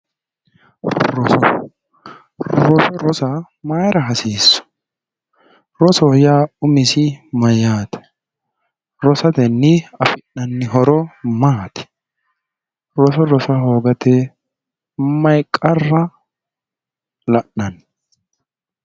Roso, roso rossa mayra hasiisu, rosoho yaa umisi mayaate, rosatenni afi'nanni horo maati, roso rossa hoogate mayi qarra la'nanni ?